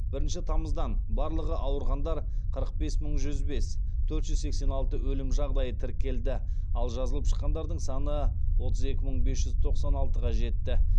бірінші тамыздан барлығы ауырғандар қырық бес мың жүз бес төрт жүз сексен алты өлім жағдайы тіркелді ал жазылып шыққандардың саны отыз екі мың бес жүз тоқсан алтыға жетті